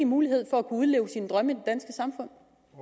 mulighed for at udleve sine drømme i